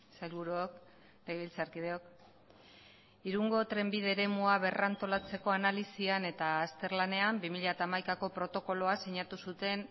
sailburuok legebiltzarkideok irungo trenbide eremua berrantolatzeko analisian eta azterlanean bi mila hamaikako protokoloa sinatu zuten